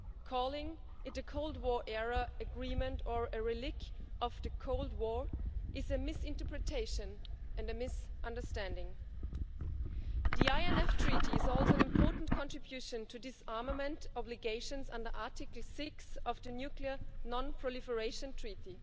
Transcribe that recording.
Calling it a Cold War era agreement or a relic of the Cold War is a misinterpretation and a misunderstanding. The INF Treaty is always an important contribution to disarmament obligations under Article 6 of the nuclear non proliferation treaty.